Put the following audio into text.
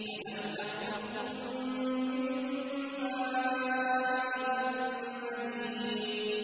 أَلَمْ نَخْلُقكُّم مِّن مَّاءٍ مَّهِينٍ